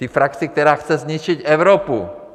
Té frakci, která chce zničit Evropu.